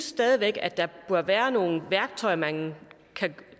stadig væk bør være nogle værktøjer man kan